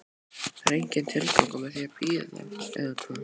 Það er enginn tilgangur með því að bíða, eða hvað?